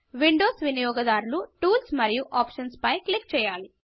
Windows వినియోగదారులు tools మరియు options పై క్లిక్ చేయాలి